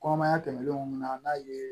Kɔnɔmaya tɛmɛnenw na n'a ye